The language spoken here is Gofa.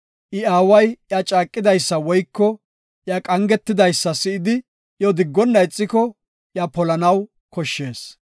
I aaway iya caaqidaysa woyko iya qangetidaysa si7idi, iyo diggonna ixiko, iya polanaw koshshees.